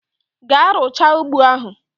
Gaa rucha ụgbọ ahu!